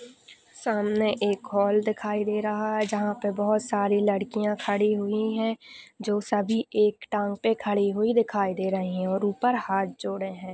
सामने एक हॉल दिखा दे रहा है। जहा पर बहुत सारी लड़किया खड़ी हुई है। जो सभी एक टांग पे खड़ी हुई दिखाई दे रहे है। और उपर हाथ जोड़े है।